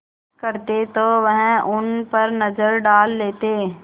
करते तो वह उन पर नज़र डाल लेते